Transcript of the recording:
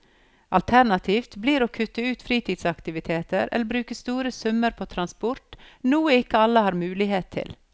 Alternativet blir å kutte ut fritidsaktiviteter eller bruke store summer på transport, noe ikke alle har mulighet til.